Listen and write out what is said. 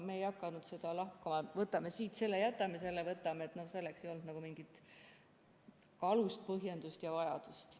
Me ei hakanud seda lahkama, et võtame siit selle, jätame tolle – selleks ei olnud mingit alust, põhjendust ja vajadust.